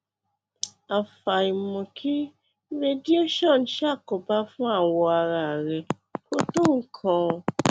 àfàìmọ kí radiation ṣàkóbá fún awọ ara rẹ kò tó nǹkan